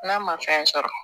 N'a ma fɛn sɔrɔ